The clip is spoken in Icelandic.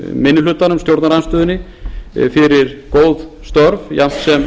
minni hlutanum stjórnarandstöðunni fyrir góð störf jafnt